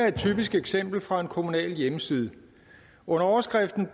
et typisk eksempel fra en kommunal hjemmeside under overskriften